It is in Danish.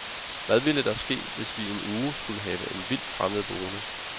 Hvad ville der ske, hvis vi i en uge skulle have en vildt fremmed boende.